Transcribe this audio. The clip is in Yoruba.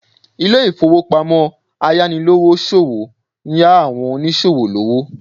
Ilé ìfowópamọ́ ayánilówóṣòwó ń yá àwọn oníṣòwò lówó